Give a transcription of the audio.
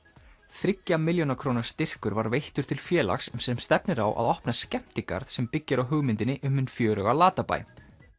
þriggja milljóna króna styrkur var veittur til félags sem stefnir á að opna skemmtigarð sem byggir á hugmyndinni um hinn fjöruga Latabæ